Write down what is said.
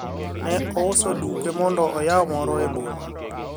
ne ouso duke mondo oyaw moro e boma